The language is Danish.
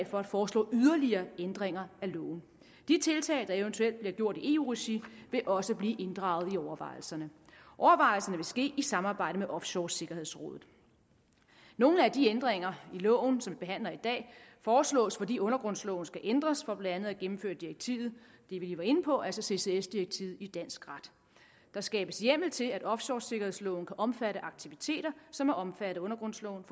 for at foreslå yderligere ændringer af loven de tiltag der eventuelt bliver gjort i eu regi vil også blive inddraget i overvejelserne overvejelserne vil ske i samarbejde med offshoresikkerhedsrådet nogle af de ændringer i loven som vi behandler i dag foreslås fordi undergrundsloven skal ændres for blandt andet at gennemføre det direktiv vi lige var inde på altså ccs direktivet i dansk ret der skabes hjemmel til at offshoresikkerhedsloven kan omfatte aktiviteter som er omfattet af undergrundsloven